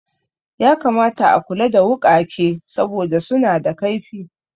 Ya kamata a kula da wuƙake saboda suna da kaifi